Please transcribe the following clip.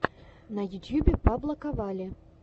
на ютюбе паблоковалли